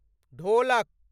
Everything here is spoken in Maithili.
ढ़ोलक